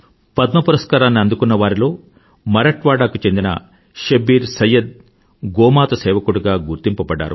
పద్మ పురస్కారాన్ని అందుకున్న వారిలో మరాఠ్ వాడాకు చెందిన శెబ్బీర్ సయ్యద్ గోమాత సేవకుడిగా గుర్తింపబడ్డారు